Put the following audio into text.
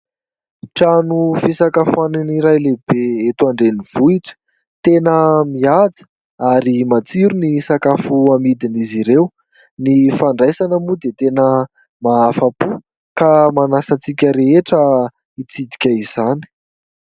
Trano fisakafoanany iray lehibe eto an-drenivohitra, tena mihaja ary matsiro ny sakafo amidin' izy ireo ny fandraisana moa dia tena mahafa-po ka manasa antsika rehetra hitsidika izany.